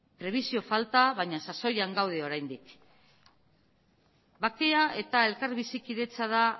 prebisio falta baina sasoian gaude oraindik bakea eta elkar bizikidetza da